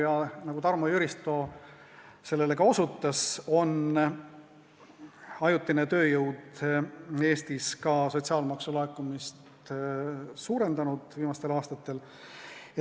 Ja nagu Tarmo Jüristo ka osutas, on ajutine tööjõud sotsiaalmaksu laekumist Eestis viimastel aastatel suurendanud.